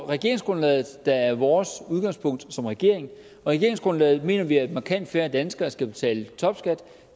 regeringsgrundlaget der er vores udgangspunkt som regering og i regeringsgrundlaget mener vi at markant færre danskere skal betale topskat